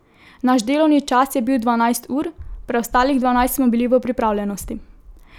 Naš delovni čas je bil dvanajst ur, preostalih dvanajst smo bili v pripravljenosti.